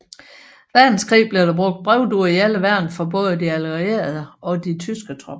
Verdenskrig blev der brugt brevduer i alle værn hos både de allierede og de tyske tropper